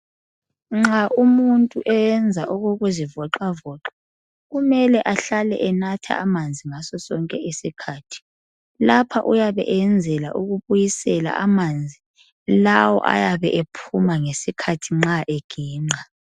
Nxa umuntu eyenza okukuzivoxavoxa kumele ahlale enatha amanzi ngaso sonke isikhathi. Lapha uyabe eyenzela ukubuyisela amanzi lawo ayabe ephuma ngesikhathi nxa eginqa.